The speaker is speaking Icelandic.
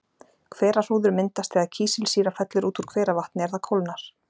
Hverahrúður myndast þegar kísilsýra fellur út úr hveravatni er það kólnar.